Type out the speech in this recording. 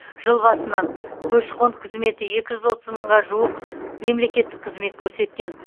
жыл басынан көші қон қызметі екі жүз мыңға жуық мемлекеттік қызмет көрсеткен